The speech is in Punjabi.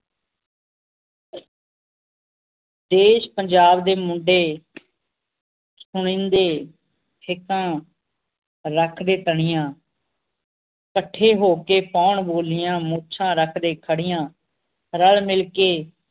ਦੇਸ਼ ਪੰਜਾਬ ਦੇ ਮੁੰਡੇ ਸਿੱਕਾਂ ਰੱਖਦੇ ਤਨੀਆਂ ਕੱਠੇ ਹੋ ਕੇ ਪਾਉਣ ਬੋਲੀਆਂ ਮੁਛਾਂ ਰੱਖਦੇ ਖੜੀਆਂ ਰੱਲ ਮਿਲ ਕੇ